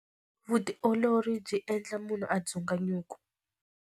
Vutiolori byi endla munhu a dzuka nyuku.